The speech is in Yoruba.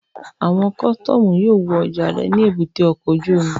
Àwọn kọ́sítọ́mù yóò wo ọjà rẹ ní èbúté ọkọ̀ ojú omi